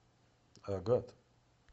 агат